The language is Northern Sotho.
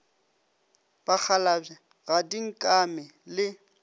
bakgalabje ga di nkame le